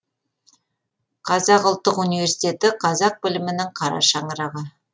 қазақ ұлттық универститеті қазақ білімінің қара шаңырағы